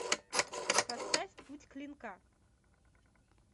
поставь путь клинка